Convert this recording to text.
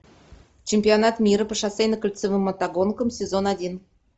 чемпионат мира по шоссейно кольцевым мотогонкам сезон один